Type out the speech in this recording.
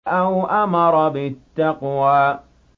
أَوْ أَمَرَ بِالتَّقْوَىٰ